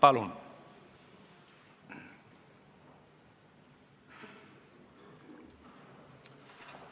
Palun!